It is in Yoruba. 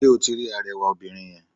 Sé o ti rí arewà obìnrin yen?